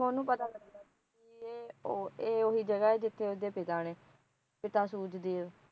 ਉਹਨੂੰ ਪਤਾ ਲੱਗਾ ਪੀ ਇਹ ਉਹੀ ਜਗਾ ਜਿੱਥੇ ਉਸਦੇ ਪਿਤਾ ਨੇ ਪਿਤਾ ਸੂਰਜ ਦੇਵ